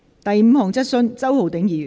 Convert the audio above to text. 第五項質詢。